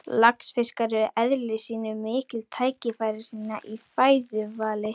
Laxfiskar eru í eðli sínu miklir tækifærissinnar í fæðuvali.